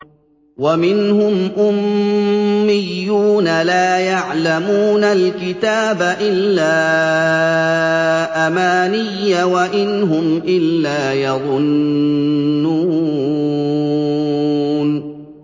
وَمِنْهُمْ أُمِّيُّونَ لَا يَعْلَمُونَ الْكِتَابَ إِلَّا أَمَانِيَّ وَإِنْ هُمْ إِلَّا يَظُنُّونَ